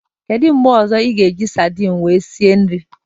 Kedu mgbe ozo ị ga eji sardin wee sie nri